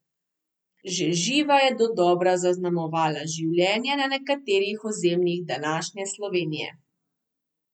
Že živa je dodobra zaznamovala življenje na nekaterih ozemljih današnje Slovenije.